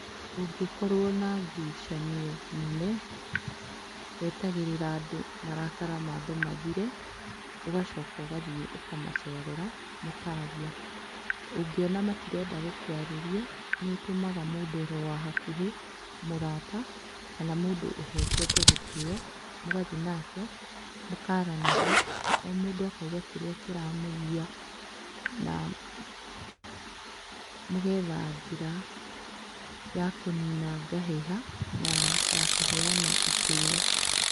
Ũngĩkorwo na ngucanio nene, wetagĩrĩra andũ marakara maambe mathire, ũgacoka ũgathiĩ kũmacerera, mũkaaria. Ũngeona matirenda gũkũarĩria, nĩ ũtũmaga mũndũ oro wa hakuhĩ, mũrata kana mũndũ ũheketa gĩtĩo, mũgathi nake, mũkaaranĩria, o mũndũ akauga kĩrĩa kĩramũgia, na mũgetha njĩra ya kũnina ngahĩha, na ya kũheana itĩo